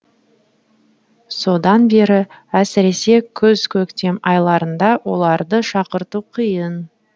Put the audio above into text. содан бері әсіресе күз көктем айларында оларды шақырту қиын